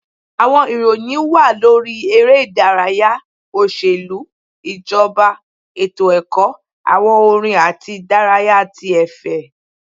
Àwọn ìròyìn wà lórí eré ìdárayá, oṣelu, ijọba, etó-ẹkọ, awọn orin atí idaraya tí efè.